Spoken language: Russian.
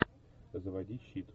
заводи щит